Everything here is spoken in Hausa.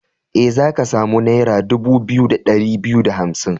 E, za ka samu naira dubu biyu da ɗari biyu da hamsin.